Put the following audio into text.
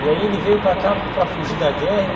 E aí ele veio para cá para fugir da guerra?